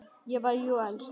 Ég var jú elst.